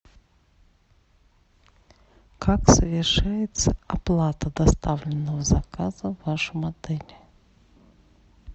как совершается оплата доставленного заказа в вашем отеле